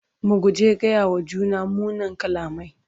mu guji gaya wa juna munan kalamai